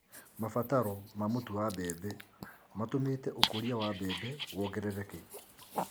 Mabataro ma mũtu wa mbembe matũmite ũkũria wa mbembe wongerereke.